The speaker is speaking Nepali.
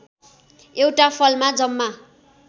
एउटा फलमा जम्मा